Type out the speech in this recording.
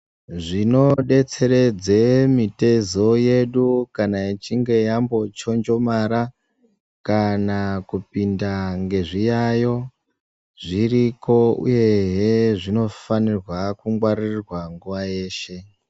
Zvinobetseredze mitezo yedu kana ichinge yambochonjomara kana kupinda ngezviyayo zviriko, uyehe zvinofanirwa kungwaririrwa nguva yeshe.